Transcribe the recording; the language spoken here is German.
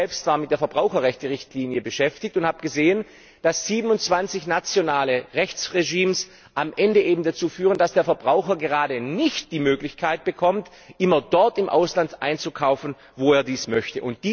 Ich selbst war mit der Verbraucherrechte Richtlinie beschäftigt und habe gesehen, dass 27 nationale Rechtsregimes am Ende eben dazu führen, dass der Verbraucher gerade nicht die Möglichkeit bekommt, immer dort im Ausland einzukaufen, wo er dies möchte.